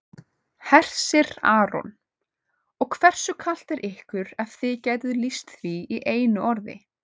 Hersir Aron: Og hversu kalt er ykkur ef þið gætuð lýst því í einu orði?